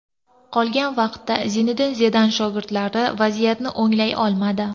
Qolgan vaqtda Zinedin Zidan shogirdlari vaziyatni o‘nglay olmadi.